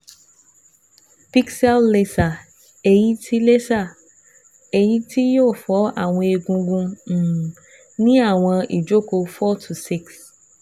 Pixel laser eyi ti laser eyi ti yoo fọ awọn egungun um ni awọn ijoko four to six